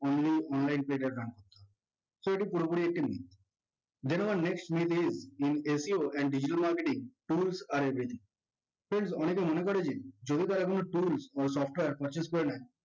only online page এ run করতে হবে so এটি পুরোপুরি একটি myth then our next myth is in SEO and digital marketing tools are everything friends অনেকে মনে করে যে যদি তারা কোনো tools ও software purchase করে নেয়